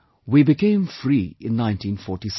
We became free in 1947